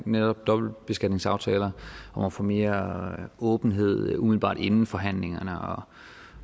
netop dobbeltbeskatningsaftaler om at få mere åbenhed umiddelbart inden forhandlingerne